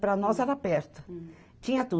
Para nós era perto. Tinha tudo